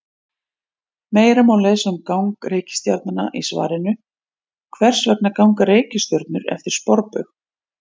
Meira má lesa um gang reikistjarna í svarinu: Hvers vegna ganga reikistjörnur eftir sporbaug?